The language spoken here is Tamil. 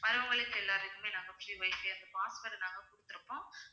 வர்றவங்களுக்கு எல்லாருக்குமே நாங்க free wifi அந்த password நாங்க குடுத்திருப்போம்